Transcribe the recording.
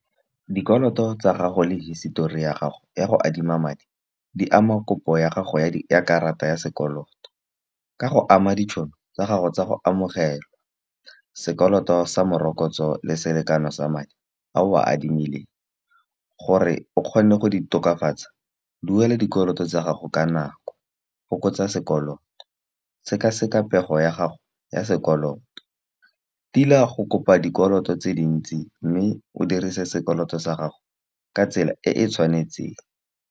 Dikoloto tsa gago le hisitori ya gago ya go adima madi, di ama kopo ya gago ya dikarata ya sekoloto. Ka go ama ditšhono tsa gago tsa go amogela sekoloto sa morokotso le selekano sa madi a o a adimileng. Gore o kgone go di tokafatsa, duela dikoloto tsa gago ka nako go fokotsa sekolo sekaseka pego ya gago ya sekoloto. Tila go kopa dikoloto tse dintsi, mme o dirise sekoloto sa gago ka tsela e e tshwanetseng.